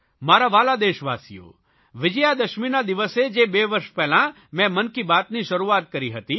મારા વ્હાલા દેશવાસીઓ વિજયાદશમીના દિવસે જે બે વર્ષ પહેલાં મેં મન કી બાત ની શરૂઆત કરી હતી